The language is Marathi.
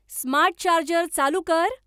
स्मार्ट चार्जर चालू कर